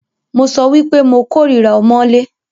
Mo sọ wípé mo kòrira ọmọ́lé.